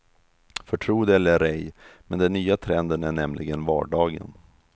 För tro det eller ej, men den nya trenden är nämligen vardagen.